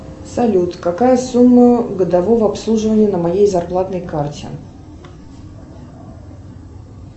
салют какая сумма годового обслуживания на моей зарплатной карте